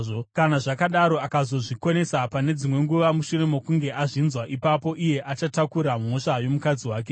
Kana zvakadaro, akazozvikonesa pane dzimwe nguva, mushure mokunge azvinzwa, ipapo iye achatakura mhosva yomukadzi wake.”